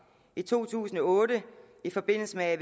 i to tusind og otte i forbindelse med